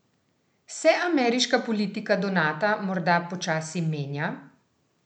Se ameriška politika do Nata morda počasi menja?